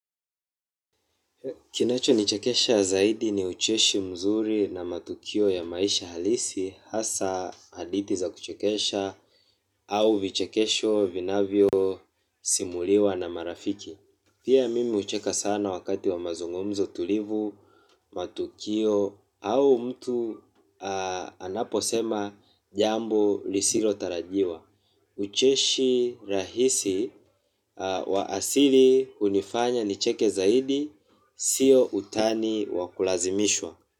Kinacho nichekesha zaidi ni ucheshi mzuri na matukio ya maisha halisi hasa hadithi za kuchekesha au vichekesho vinavyo simuliwa na marafiki. Pia mimi hucheka sana wakati wa mazungumzo tulivu, matukio au mtu anapo sema jambo lisilo tarajiwa. Ucheshi rahisi wa asili hunifanya nicheke zaidi. Sio utani wakulazimishwa.